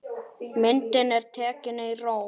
Myndin er tekin í Róm.